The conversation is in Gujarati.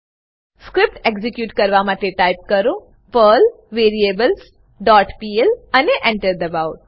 સ્ક્રીપ્ટ એક્ઝીક્યુટ કરવા માટે ટાઈપ કરો પર્લ વેરિએબલ્સ ડોટ પીએલ અને Enter દબાઓ